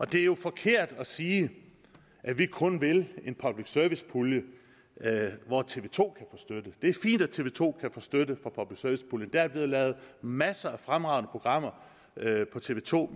det er jo forkert at sige at vi kun vil en public service pulje hvor tv to kan støtte det er fint at tv to kan få støtte fra public service puljen der er blevet lavet masser af fremragende programmer på tv to